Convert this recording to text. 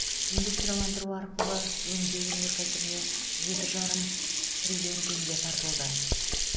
индустрияландыру арқылы өңдеу өнеркәсібіне жеті жарым триллион теңге тартылды